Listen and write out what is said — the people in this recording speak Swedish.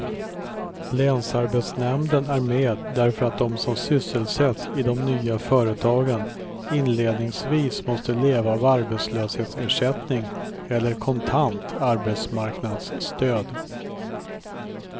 Länsarbetsnämnden är med därför att de som sysselsätts i de nya företagen inledningsvis måste leva av arbetslöshetsersättning eller kontant arbetsmarknadsstöd.